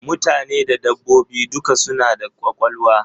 Mutane da dabbobi duka suna da kwakwalwa.